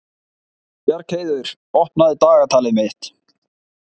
Bjargheiður, opnaðu dagatalið mitt.